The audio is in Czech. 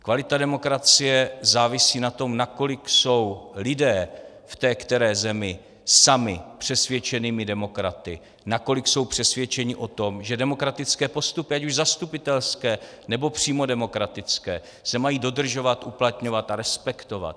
Kvalita demokracie závisí na tom, nakolik jsou lidé v té které zemi sami přesvědčenými demokraty, nakolik jsou přesvědčeni o tom, že demokratické postupy, ať už zastupitelské, nebo přímo demokratické, se mají dodržovat, uplatňovat a respektovat.